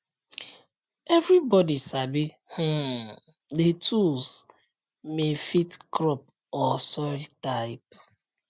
everybody sabi um the tools may fit crop or soil type